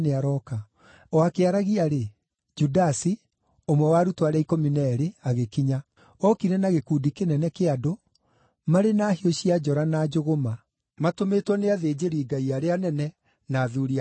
O akĩaragia-rĩ, Judasi, ũmwe wa arutwo arĩa ikũmi na eerĩ, agĩkinya. Ookire na gĩkundi kĩnene kĩa andũ, marĩ na hiũ cia njora na njũgũma, matũmĩtwo nĩ athĩnjĩri-Ngai arĩa anene na athuuri a kĩama.